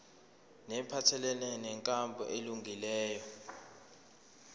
neziphathelene nenkambo elungileyo